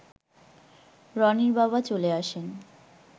রনির বাবা চলে আসেন